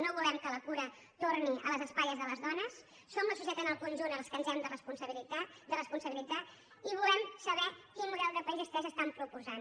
no volem que la cura torni a les espatlles de les dones som la societat en el conjunt els que ens n’hem de responsabilitzar i volem saber quin model de país vostès estan proposant